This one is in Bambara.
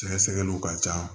Sɛgɛsɛgɛliw ka ca